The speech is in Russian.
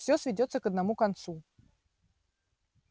всё сведётся к одному концу